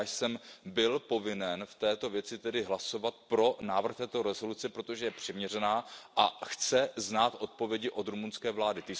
A já jsem byl povinen v této věci tedy hlasovat pro návrh této rezoluce, protože je přiměřená a chce znát odpovědi od rumunské vlády.